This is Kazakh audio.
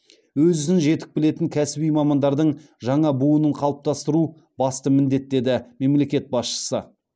өз ісін жетік білетін кәсіби мамандардың жаңа буынын қалыптастыру басты міндет деді мемлекет басшысы